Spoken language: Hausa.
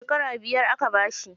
Shekara biyar aka bashi.